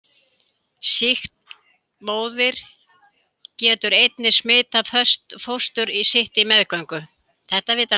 Sýkt móðir getur einnig smitað fóstur sitt á meðgöngu.